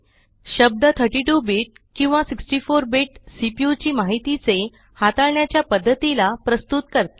शब्द 32 बीट किंवा 64 bit CPU ची माहितीचे हाताळण्याच्या पद्धतीला प्रस्तुत करते